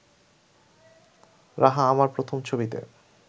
রাহা আমার প্রথম ছবিতে